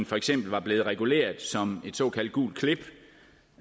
for eksempel var blevet reguleret som et såkaldt gult klip